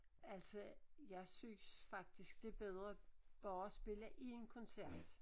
Altså jeg synes faktisk det bedre bare at spille én koncert